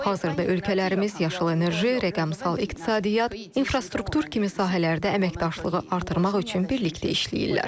Hazırda ölkələrimiz yaşıl enerji, rəqəmsal iqtisadiyyat, infrastruktur kimi sahələrdə əməkdaşlığı artırmaq üçün birlikdə işləyirlər.